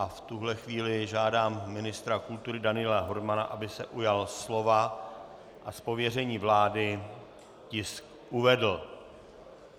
A v tuhle chvíli žádám ministra kultury Daniela Hermana, aby se ujal slova a z pověření vlády tisk uvedl.